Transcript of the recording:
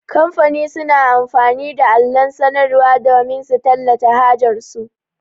Kamfani suna amfani da allon sanarwar damin su tallata hajar su.